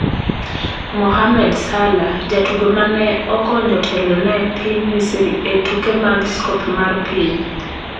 Mohamed Salah: Jatugo mane okonyo telo ne piny Misri e tuke mag Scop mar Piny